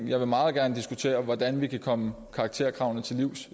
jeg vil meget gerne diskutere hvordan vi kan komme karakterkravene til livs